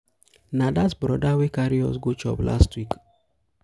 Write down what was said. na dat brother wey carry us go chop last week.